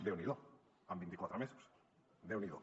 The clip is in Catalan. déu n’hi do amb vint i quatre mesos déu n’hi do